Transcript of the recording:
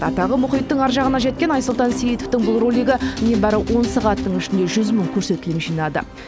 атағы мұхиттың ар жағына жеткен айсұлтан сейітовтың бұл ролигі небәрі он сағаттың ішінде жүз мың көрсетілім жинады